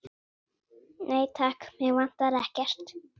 Nei, takk, mig vantar ekkert.